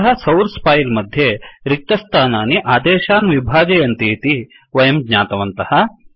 अतः source file मध्ये रिक्तस्थानानि आदेशान् विभाजयन्ति इति वयं ज्ञातवन्तः